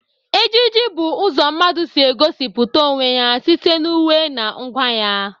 Ejiji bụ ụzọ mmadụ si egosipụta onwe ya site na uwe na ngwa ya.